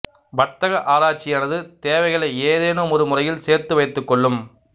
வர்த்தக ஆராய்ச்சியானது தேவைகளை ஏதேனுமொரு முறையில் சேர்த்து வைத்து கொள்ளும்